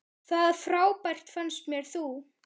Það frábær fannst mér þú.